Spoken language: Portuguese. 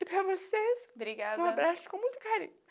E para vocês, um abraço com muito carinho. Brigada